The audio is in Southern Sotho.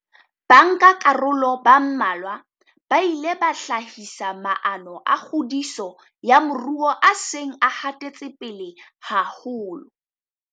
Bankakaroloba mmalwa ba ile ba hlahisa maano a kgodiso ya moruo a seng a hatetse pele haholo.